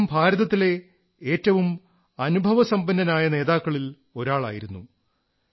അദ്ദേഹം ഭാരതത്തിലെ ഏറ്റവും അനുഭവസമ്പന്നനായ നേതാക്കളിൽ ഒരാളായിരുന്നു